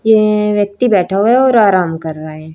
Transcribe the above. यह व्यक्ति बैठा हुआ है और आराम कर रहा है।